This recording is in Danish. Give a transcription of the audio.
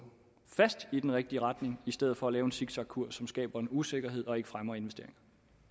i den rigtige retning i stedet for at lave en zigzagkurs som skaber usikkerhed og ikke fremmer investeringer